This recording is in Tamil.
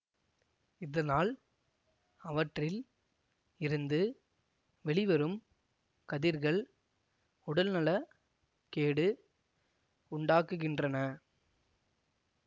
இதனால் அவற்றில் இருந்து வெளிவரும் கதிர்கள் உடல்நல கேடு உண்டாக்குகின்றன